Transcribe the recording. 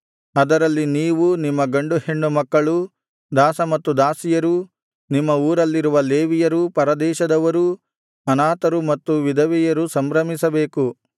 ಅದರಲ್ಲಿ ನೀವೂ ನಿಮ್ಮ ಗಂಡು ಹೆಣ್ಣು ಮಕ್ಕಳೂ ದಾಸ ಮತ್ತು ದಾಸಿಯರೂ ನಿಮ್ಮ ಊರಲ್ಲಿರುವ ಲೇವಿಯರೂ ಪರದೇಶದವರೂ ಅನಾಥರು ಮತ್ತು ವಿಧವೆಯರೂ ಸಂಭ್ರಮಿಸಬೇಕು